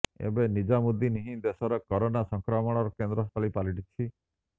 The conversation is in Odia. ଏବେ ନିଜାମୁଦ୍ଦିନ ହିଁ ଦେଶର କରୋନା ସଂକ୍ରମଣର କେନ୍ଦ୍ରସ୍ଥଳୀ ପାଲଟିଛି